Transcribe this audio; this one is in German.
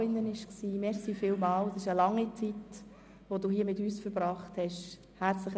Herzlichen Dank, dass Sie diese lange Zeit mit uns verbracht haben!